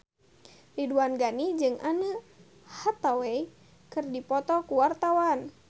Ridwan Ghani jeung Anne Hathaway keur dipoto ku wartawan